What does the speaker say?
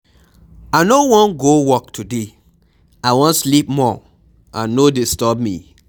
I no wan go work today, I wan sleep more and no disturb me.